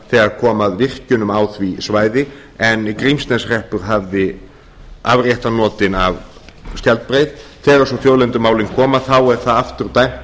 þegar kom að virkjunum á því svæði en grímsneshreppur hafði afréttarnotin af skjaldbreið þegar svo þjóðlendumálin koma þá er það aftur dæmt